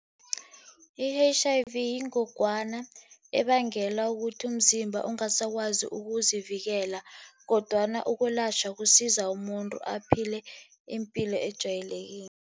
I-H_I_V yingogwana ebangela ukuthi umzimba ungasakwazi ukuzivikela, kodwana ukulatjhwa kusiza umuntu aphile ipilo ejwayelekile.